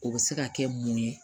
O bɛ se ka kɛ mun ye